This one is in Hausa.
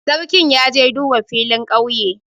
Sarkin ya je duba filin ƙauye.